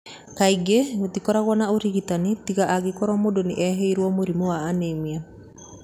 Kaingĩ gũtibataranagia ũrigitani tiga angĩkorũo mũndũ nĩ ehĩrwo mũrimũ wa anemia.